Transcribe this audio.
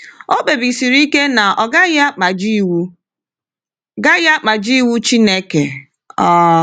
O kpebisiri ike na ọ gaghị akpajie iwu gaghị akpajie iwu Chineke. um